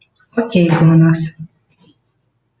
окей глонассс